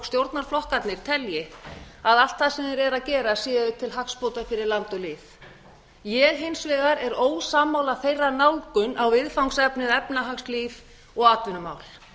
stjórnarflokkarnir telji að allt það sem þeir eru að gera séu til hagsbóta fyrir land og lýð ég er hins vegar ósammála þeirra nálgun á viðfangsefnið efnahagslíf og atvinnumál